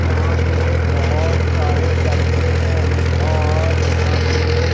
यहां पे बहुत सारे डब्बे हैं और यहां पे--